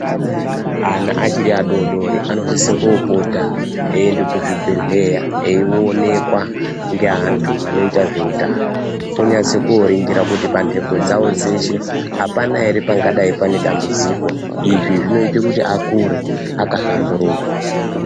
Ana achiri adoodori anosise koopota eiende kuzvibhedhleya eionekwa ngeantu anoita zveutano. Onyatse kooringira kuti pandengo dzavo dzeshe, apana ere pangadai pane dambudziko. Izvi zvinoite kuti akure akahlamburuka.